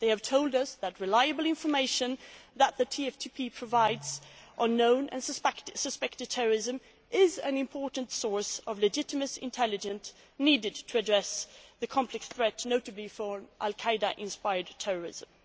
They have told us that the reliable information that the TFTP provides on known and suspected terrorism is an important source of legitimate intelligence needed to address the complex threat, notably from al Qaeda inspired terrorism.